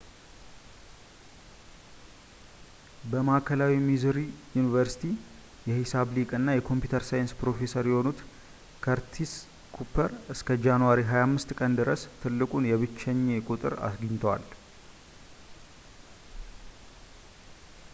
በማዕከላዊ ሚዙሪ ዩኒቨርሲቲ የሂሳብ ሊቅ እና የኮምፒተር ሳይንስ ፕሮፌሰር የሆኑት ከርቲስ ኩፐር እስከ ጃንዋሪ 25 ቀን ድረስ ትልቁን የብቸኜ ቁጥር አግኝተዋል